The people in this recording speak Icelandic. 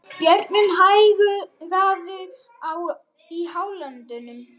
Bjöggi, hækkaðu í hátalaranum.